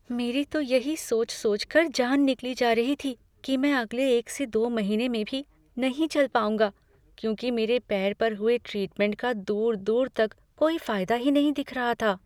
मेरी तो यही सोच सोचकर जान निकली जा रही थी कि मैं अगले एक से दो महीने में भी नहीं चल पाऊंगा, क्योंकि मेरे पैर पर हुए ट्रीटमेंट का दूर दूर तक कोई फायदा ही नहीं दिख रहा था।